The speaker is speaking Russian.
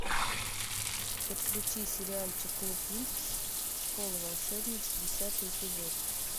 подключи сериальчик клуб винкс школа волшебниц десятый эпизод